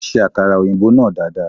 Ó ṣe akara òyìnbó náà dada.